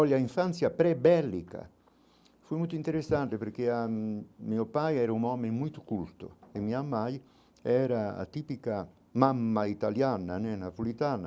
Olha, infância pré-bélica, foi muito interessante, porque ãh meu pai era um homem muito culto e minha mãe era a típica mamma italiana né, na,